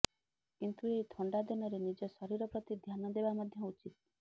କିନ୍ତୁ ଏହି ଥଣ୍ଡା ଦିନରେ ନିଜ ଶରୀର ପ୍ରତି ଧ୍ୟାନ ଦେବା ମଧ୍ୟ ଉଚିତ